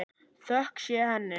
Þökk sé henni.